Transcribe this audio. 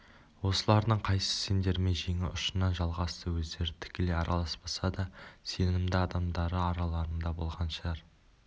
осылардың қайсысы сендермен жеңі ұшынан жалғасты өздері тікелей араласпаса да сенімді адамдары араларыңда болған шығар